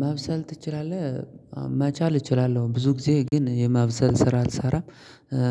ማብሰል ትችላለህ? መቻል እችላለሁ ብዙ ጊዜ ግን የማብሰል ስራ አልሰራም።